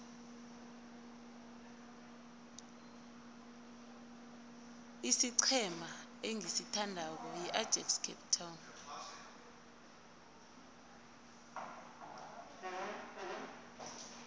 isiqhema engisithandako yiajax cape town